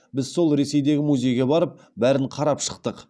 біз сол ресейдегі музейге барып бәрін қарап шықтық